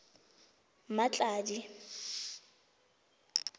mmatladi